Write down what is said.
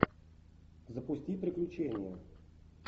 запусти приключения